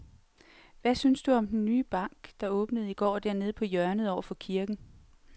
Hvad synes du om den nye bank, der åbnede i går dernede på hjørnet over for kirken?